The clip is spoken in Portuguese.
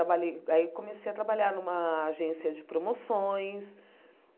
Trabalhei aí comecei a trabalhar numa agência de promoções.